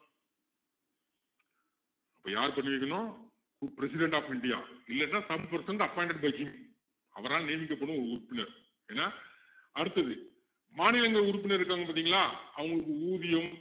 அப்போ யாரு பண்ணி வைக்கணும் president of india இல்லன்னா some person appointed by him அவரால் நியமிக்கப்படும் ஒரு உறுப்பினர் ஏன்னா அடுத்தது மாநிலங்கள் உறுப்பினருக்கு இருக்காங்க பாத்தீங்களா அவங்களுக்கு ஊதியம்